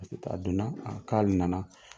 don na k'ale na na.